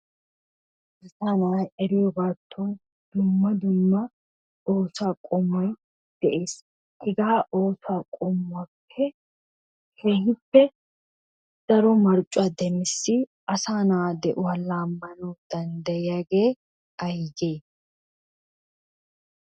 Asa nay eriyoogatton dumma dumma oosuwa qommoy de'ees. Hegaa oosuwa qommuwappe keehippe daro maeccuwaa demmissi asanaa de'uwa laammanaw danddayiyagee aygee?